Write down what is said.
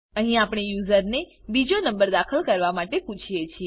અહી આપણે યુઝરને બીજો નંબર દાખલ કરવા માટે પુછીએ છીએ